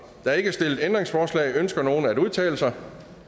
er ikke stillet ændringsforslag ønsker nogen at udtale sig